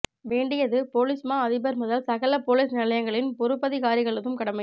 வேண்டியது பொலிஸ் மா அதிபர் முதல் சகல பொலிஸ் நிலையங்களின் பொறுப்பதிகாரிகளதும் கடமை